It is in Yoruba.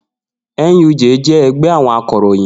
NUJ jẹ́ ẹgbẹ́ àwọn akọ̀ròyìn